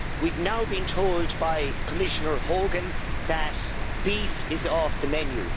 We have now been told by Commissioner Hogan that beef is off the menu.